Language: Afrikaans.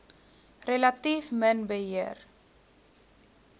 relatief min beheer